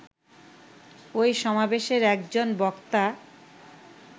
ওই সমাবেশের একজন বক্তা